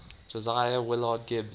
josiah willard gibbs